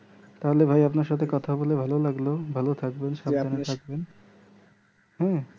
তাহলে ভাই আপনার সাথে কথা বলে ভালো লাগলো ভালো থাকবেন সাবধানে থাকবেন হ্যাঁ